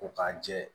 Ko k'a jɛ